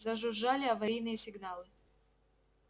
зажужжали аварийные сигналы